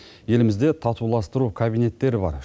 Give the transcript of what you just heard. елімізде татуластыру кабинеттері бар